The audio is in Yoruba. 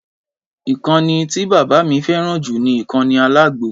Ìkànnì tí bàbá mi fẹ́ràn ju ni ìkànnì àlágó